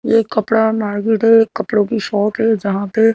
ये कपड़ा मार्केट है एक कपड़ों की शॉप है जहाँ पे--